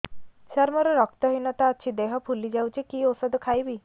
ସାର ମୋର ରକ୍ତ ହିନତା ଅଛି ଦେହ ଫୁଲି ଯାଉଛି କି ଓଷଦ ଖାଇବି